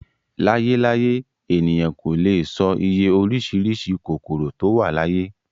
Láyé láyé, ènìyàn kò lè e sọ iye orísìírísìí kòkòrò tó wà láyé